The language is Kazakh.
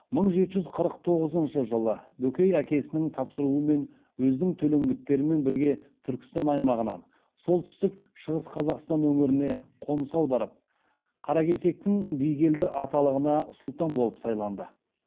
мың жеті жүз қырық тоғызыншы жылы бөкей әкесінің тапсыруымен өзінің төлеңгіттерімен бірге түркістан аймағынан солтүстік шығыс қазақстан өңіріне қоныс аударып қаракесектің бигелді аталығына сұлтан болып сайланды